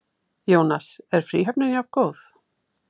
Jónas: Er fríhöfnin jafngóð?